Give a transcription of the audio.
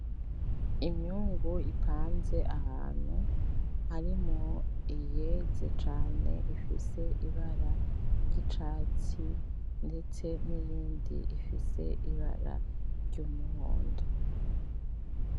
Imyungu ipanze ahantu, harimwo iyeze cane ifise ibara ryicatsi . ndetse niyindi ifise ibara ryumuhondo .